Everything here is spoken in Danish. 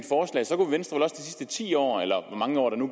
sidste ti år eller hvor mange år det nu